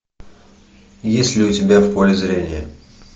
есть ли у тебя в поле зрения